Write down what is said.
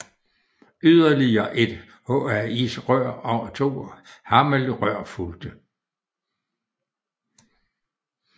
Yderligere et HAIS rør og to HAMEL rør fulgte